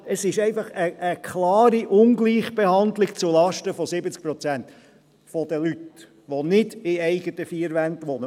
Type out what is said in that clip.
Es ist einfach eine klare Ungleichbehandlung zulasten von 70 Prozent der Leute, die nicht in den eigenen vier Wänden wohnen.